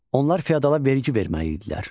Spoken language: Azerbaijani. Onlar fiodala vergi verməli idilər.